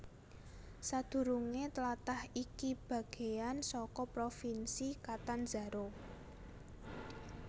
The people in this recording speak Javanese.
Sadurungé tlatah iki bagéan saka Provinsi Catanzaro